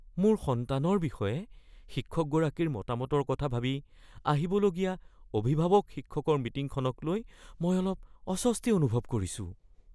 মোৰ সন্তানৰ বিষয়ে শিক্ষকগৰাকীৰ মতামতৰ কথা ভাবি আহিবলগীয়া অভিভাৱক-শিক্ষকৰ মিটিঙখনকলৈ মই অলপ অস্বস্তি অনুভৱ কৰিছোঁ।